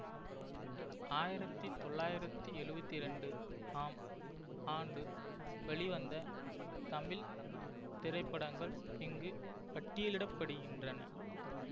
ஆயிரத்தி தொள்ளாயிரத்தி எழுவத்தி இரண்டு ஆம் ஆண்டு வெளிவந்த தமிழ் திரைப்படங்கள் இங்கு பட்டியலிட படுகின்றன